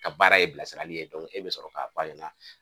Ka baara ye bilasirali ye e bɛ sɔrɔ k'a fɔ a ɲɛna